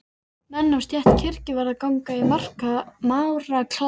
Menn af stétt kirkjuvarðar ganga í máraklæðum.